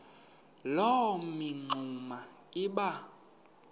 loo mingxuma iba